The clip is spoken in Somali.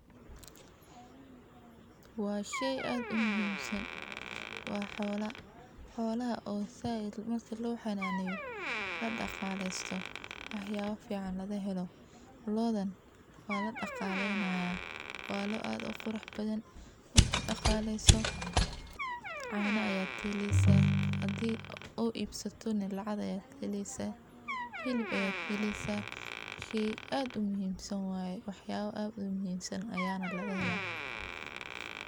Waa sheey aad umuhimsan , waa xoola, xoolaha oo zaid lohananeyo, la dhagalesto sii waxyaba badhan lokahelo, lodhan waa la dhagaaleynahay , waa loo aad uqurux badhan, marki dhagaleyso caana aya kaheleysaa haadi iibsatonah lacag aya kaheleysaa sidhokale waxa kaheleysaa hilib, sidhas daradeed loodha waa muhim.